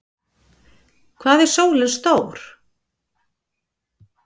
Hvað er sólin stór?